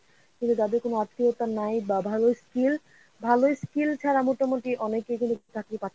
কিন্তু তাদের কোনো আত্মীয়তা নাই বা ভালো skill ভালো skill ছাড়া মোটামুটি অনেকেই কিন্তু চাকরি পাচ্ছে না,